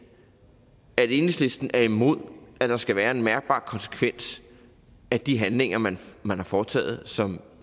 at enhedslisten er imod at der skal være en mærkbar konsekvens af de handlinger man man har foretaget som